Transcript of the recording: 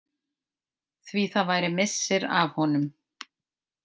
Því það væri missir af honum.